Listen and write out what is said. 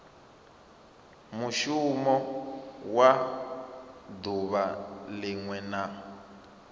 mushumo wa duvha linwe na